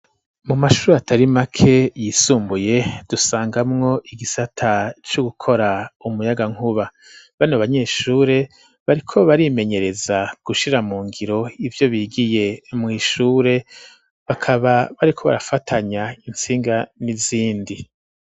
Mu mashuri atari make yisumbuye dusangamwo igisata co gukora umuyagankuba, bano abanyeshure bariko barimenyereza gushira mu ngiro ivyo bigiye mwishure bakaba bariko barafatanya intsinga n'izindi.